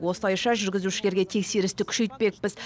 осылайша жүргізушілерге тексерісті күшейтпекпіз